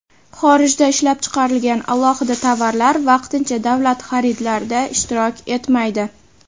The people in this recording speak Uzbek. Xorijda ishlab chiqarilgan alohida tovarlar vaqtincha davlat xaridlarida ishtirok etmaydi.